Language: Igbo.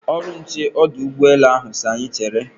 Ọrụ nche ọdụ ụgbọ elu ahụ si anyị chere.